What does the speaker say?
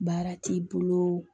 Baara t'i bolo